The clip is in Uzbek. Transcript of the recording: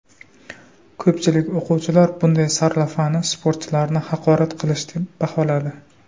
Ko‘pchilik o‘quvchilar bunday sarlavhani sportchilarni haqorat qilish deb baholadi.